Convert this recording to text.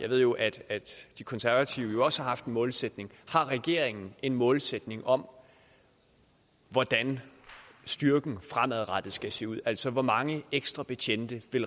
ved jo at de konservative også har haft en målsætning har regeringen en målsætning om hvordan styrken fremadrettet skal se ud altså hvor mange ekstra betjente